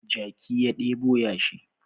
Jaki ya ɗebo yashi